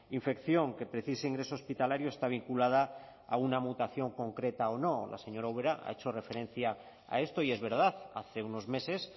infección que precise ingreso hospitalario está vinculada a una mutación concreta o no la señora ubera ha hecho referencia a esto y es verdad hace unos meses